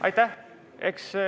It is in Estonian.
Aitäh!